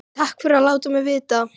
Takk fyrir að láta mig vita